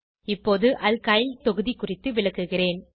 இப்போது அல்கைல் தொகுதி குறித்து விளக்குகிறேன்